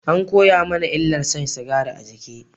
An koya mana illar shan sigari a jiki